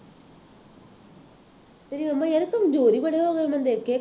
ਤੇਰੇ ਮੰਮਾ ਯਾਰ ਕਮਜ਼ੋਰ ਹੀ ਬੜੇ ਹੋ ਗਏ ਮੈਂ ਦੇਖਿਆ